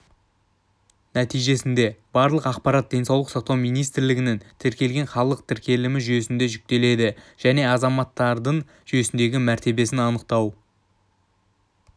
нәтижесінде барлық ақпарат денсаулық сақтау министрлігінің тіркелген халық тіркелімі жүйесіне жүктеледі және азаматтардың жүйесіндегі мәртебесін анықтау